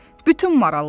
Bütün maralların.